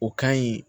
O ka ɲi